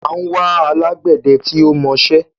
À ń wá alágbẹdẹ tí ó mọṣẹ́.